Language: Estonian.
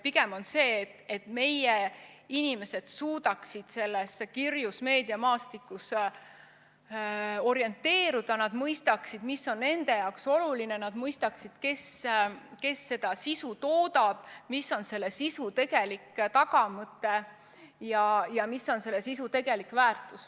Pigem on oluline see, et meie inimesed suudaksid sellel kirjul meediamaastikul orienteeruda ning et nad mõistaksid, mis on nende jaoks oluline, et nad mõistaksid, kes seda sisu toodab, mis on selle sisu tegelik tagamõte ja mis on selle sisu tegelik väärtus.